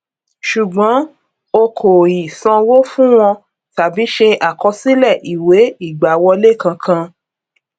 ṣùgbón o kò ì sanwó fun wọn tàbí ṣe àkọsílẹ ìwé ìgbàwọlé kankan